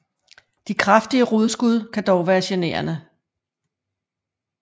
De kraftige rodskud kan dog være generende